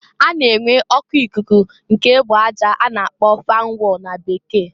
A na-enwe oku ikuku nke egbe aja a na-akpo fan wall na Bekee.